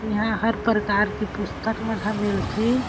इहा हर परकार के पुस्तक मन ह मिलथे।